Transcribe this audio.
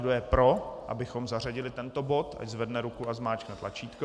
Kdo je pro, abychom zařadili tento bod, ať zvedne ruku a zmáčkne tlačítko.